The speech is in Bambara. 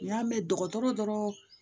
N y'a mɛn dɔgɔtɔrɔ dɔrɔn